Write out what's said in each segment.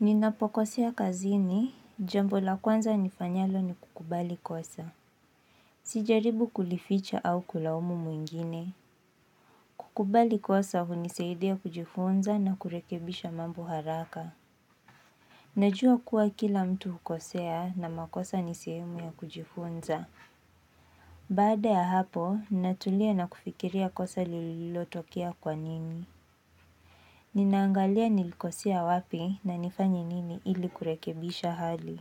Ninapokosea kazini jambo la kwanza nifanyalo ni kukubali kosa. Sijaribu kulificha au kulaumu mwingine. Kukubali kosa huniseidia kujifunza na kurekebisha mambo haraka. Najua kuwa kila mtu hukosea na makosa ni sehemu ya kujifunza. Baada ya hapo, ninatulia na kufikiria kosa lile lililotokea kwa nini. Ninaangalia nilikosea wapi na nifanye nini ili kurekebisha hali.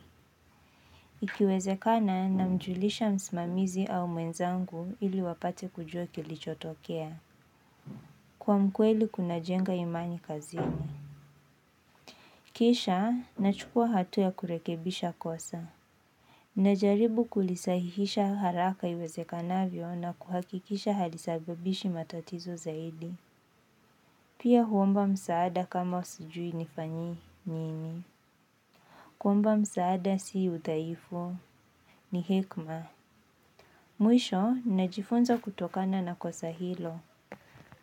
Ikiwezekana namjulisha msimamizi au mwenzangu ili wapate kujua kilichotokea. Kuwa mkweli kunajenga imani kazini. Kisha, nachukua hatua ya kurekebisha kosa. Najaribu kulisahihisha haraka iwezekanavyo na kuhakikisha halisabibishi matatizo zaidi. Pia huomba msaada kama sijui nifanyi nini. Kuomba msaada si uthaifu. Ni hekma. Mwisho, ninajifunza kutokana na kosa hilo.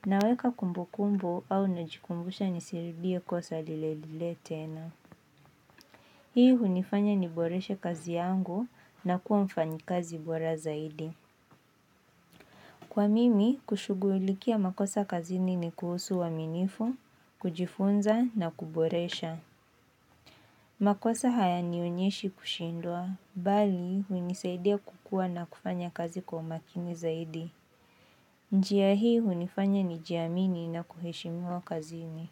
Naweka kumbukumbu au nijikumbushe nisirudie kosa lile lile tena. Hii hunifanya niboreshe kazi yangu na kuwa mfanyikazi bora zaidi. Kwa mimi, kushughulikia makosa kazini ni kuhusu uwaminifu, kujifunza na kuboresha. Makosa hayanionyeshi kushindwa, bali hunisaidia kukua na kufanya kazi kwa umakini zaidi. Njia hii hunifanye nijiamini na kuheshimiwa kazini.